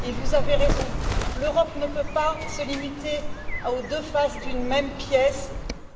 Et vous avez raison, l'Europe ne peut pas se limiter aux deux faces d'une même pièce